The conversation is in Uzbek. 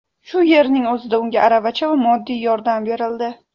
Shu yerning o‘zida unga aravacha va moddiy yordam berildi.